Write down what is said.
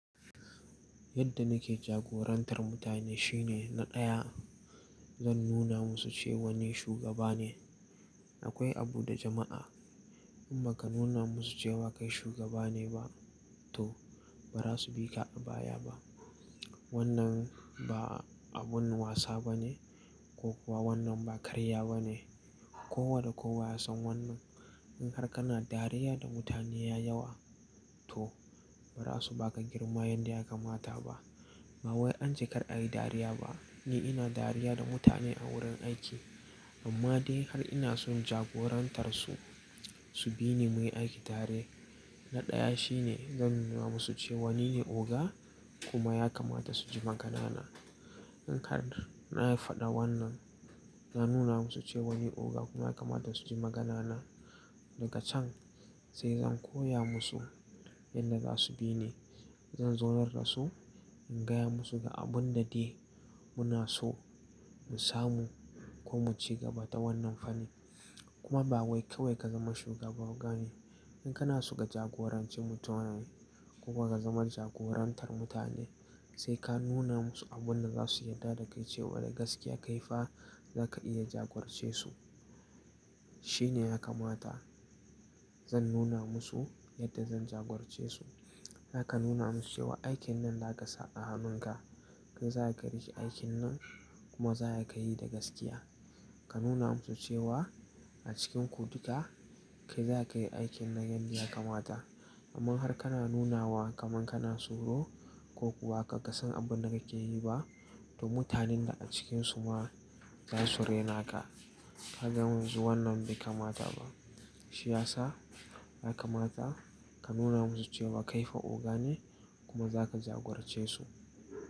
Yadda nake jagorantar mutane shine na ɗaya zan nuna musu cewa ni shugaba ne. Akwai abu da jama'a in ba ka nuna musu cewa kai shugaba ne ba toh ba za su bi ka a baya ba. Wannan ba abun wasa bane ko kuwa wannan ba karya bane. Ko wa da kowa ya san wannan. In har kana dariya da mutane ya yawa toh ba za su ba ka girma yanda ya kamata ba. Ba wai an ce kar a yi dariya ba. Ni ina dariya da mutane a wurin aiki amma dai har ina so in jagorantar su, su bi ni muyi aiki tare. Na ɗaya shine zan nuna musu cewa nine oga kuma ya kamata su ji magana na. In har na yi faɗa wannan, na nuna musu cewa ni oga kuma ya kamata su ji magana na daga can sai zan koya musu yanda za su bi ni. Zan zaunar da su in gaya musu ga abun da dai muna so mu samu ko mu ci gaba ta wannan fanni. Kuma ba wai kawai ka zama shugaba oga ne. In kana so ka jagoranci mutanen koma ka zama jagorantar mutane sai ka nuna musu abun da za su yarda da kai cewa da gaskiya kai fa za ka iya jagorce su. Shine ya kamata zan nuna musu yadda zan jagorce su. Za ka nuna musu cewa aikin nan za ka sa a hannun ka, kai za ka riƙe aikin nan kuma za ka yi da gaskiya. Ka nuna musu cewa a cikinku duka kai za ka yi aikin nan yanda ya kamata. Amma har kana nunawa kaman kana tsoro ko kuwa kar ka san abun da kake yi ba toh mutanen ka a cikinsu ma za su rena ka. Kaga yanzu wannan bai kamata ba. Shiyasa ya kamata ka nuna musu cewa kai fa oga ne kuma za ka jagorce su.